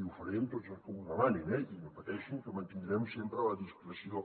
i ho faré amb tots els que m’ho demanin eh i no pateixin que mantindrem sempre la discreció